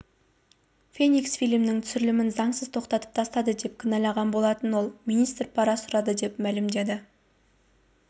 феникс фильмінің түсірілімін заңсыз тоқтатып тастады деп кінәлаған болатын ол министр пара сұрады деп мәлімдеді